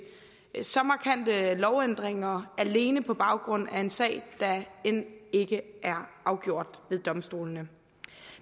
så markante lovændringer alene på baggrund af en sag der end ikke er afgjort ved domstolene